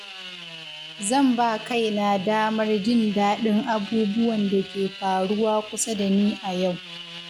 Zan ba kaina damar jin daɗin abubuwan da ke faruwa kusa da ni a yau.